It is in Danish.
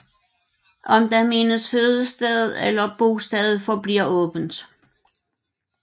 Om der menes fødested eller bosted forbliver åbent